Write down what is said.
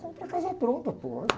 Comprar a casa pronta, pô.